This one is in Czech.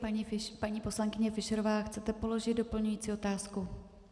Paní poslankyně Fischerová, chcete položit doplňující otázku?